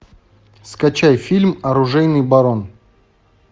скачай фильм оружейный барон